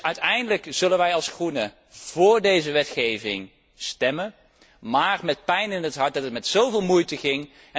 Dus uiteindelijk zullen wij als Groenen voor deze wetgeving stemmen, maar met pijn in het hart, omdat het met zo veel moeite ging.